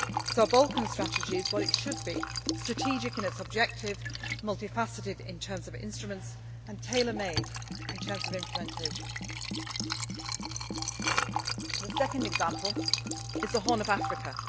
So our Balkan Strategy is what it should be strategic in its objectives, multi faceted in terms of instruments and tailor made in terms of implementation. The second example is the Horn of